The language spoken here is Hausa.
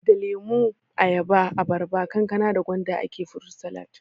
Da lemo, ayaba, abarba, kankana da gwanda ake furut salat